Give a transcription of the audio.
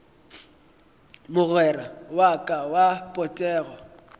mogwera wa ka wa potego